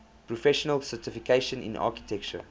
professional certification in architecture